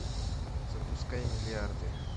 запускай миллиарды